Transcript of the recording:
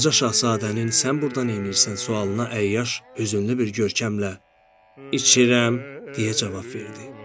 Balaca şahzadənin sən burda neynirsən sualına əyyaş hüzünlü bir görkəmlə içirəm deyə cavab verdi.